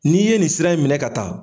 N'i ye nin sira in minɛ ka taa.